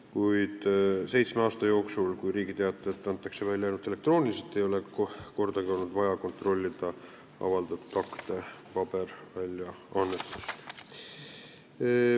Kuid seitsme aasta jooksul, kui Riigi Teatajat on välja antud ainult elektrooniliselt, ei ole kordagi olnud vaja avaldatud akte kontrollida paberväljaannetest.